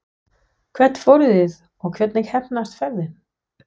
Hvert fóruð þið og hvernig heppnaðist ferðin?